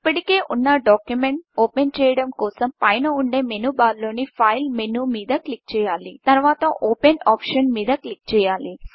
ఇప్పటికే ఉన్న డాక్యుమెంట్ను ఓపెన్ చేయడం కోసం పైన ఉండే మెనూ బార్లోని Fileఫైల్మెనూ మీద క్లిక్ చేయాలి తరువాత Openఓపెన్ ఆప్షన్ మీద క్లిక్ చేయాలి